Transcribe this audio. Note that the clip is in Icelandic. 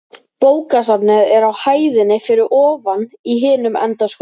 Bókasafnið er á hæðinni fyrir ofan í hinum enda skólans.